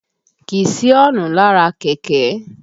Kìí sí ọ́ǹnù lára kẹ̀kẹ́